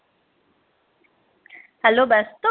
Hello ব্যস্ত